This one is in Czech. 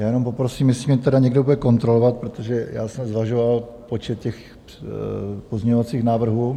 Já jenom poprosím, jestli mě tedy někdo bude kontrolovat, protože já jsem zvažoval počet těch pozměňovacích návrhů.